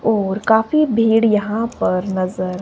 और काफी भीड़ यहां पर नजर--